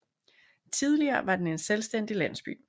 Tidligere var den en selvstændig landsby